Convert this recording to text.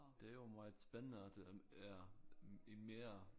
Det jo meget spændende at den er en mere